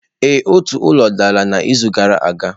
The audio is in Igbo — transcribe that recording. Ee, otu ụlọ dara n'izu gara aga.